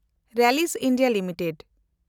Rallis India limited